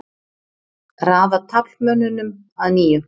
Raða taflmönnunum að nýju.